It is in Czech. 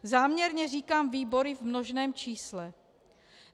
Záměrně říkám výbory v množném čísle.